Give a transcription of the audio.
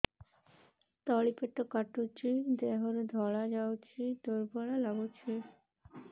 ତଳି ପେଟ କାଟୁଚି ଦେହରୁ ଧଳା ଯାଉଛି ଦୁର୍ବଳ ଲାଗୁଛି